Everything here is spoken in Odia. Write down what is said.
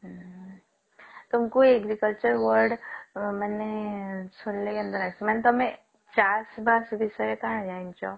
ହୁଁ ତୁମକୁ agriculture word ମାନେ ଶୁଣିଲେ କେନ୍ତା ଲାଗସି ମାନେ ତମେ ଚାଷ୍ ବାଷ୍ ବିଷୟରେ କାଁଣ ଜାଣିଛ?